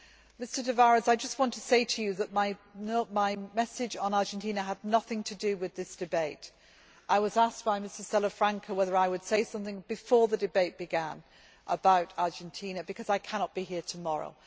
Mr Tavares, I just want to say to you that my message on Argentina had nothing to do with this debate. I was asked by Mr Salafranca Sánchez Neyra if I would say something before the debate began about Argentina because I cannot be here tomorrow.